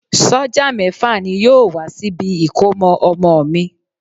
Sọ́jà mẹ́fà ni yóò wá síbi ìkómọ ọmọ mi.